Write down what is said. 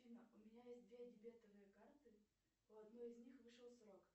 афина у меня есть две дебетовые карты у одной из них вышел срок